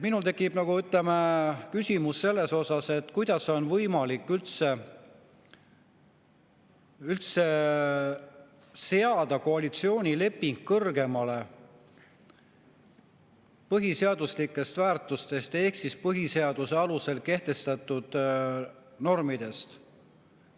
Minul tekib küsimus, kuidas on võimalik üldse seada koalitsioonileping kõrgemale põhiseaduslikest väärtustest ehk põhiseaduse alusel kehtestatud normidest.